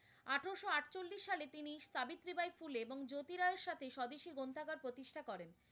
পুলে এবং জ্যোতি রায়ের সাথে স্বদেশী গ্রন্থাগার প্রতিষ্ঠা করেন।